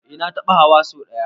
Eh na taɓa hawa so ɗaya.